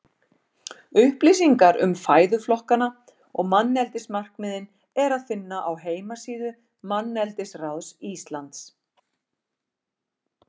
Upplýsingar um fæðuflokkana og manneldismarkmiðin er að finna á heimasíðu Manneldisráðs Íslands.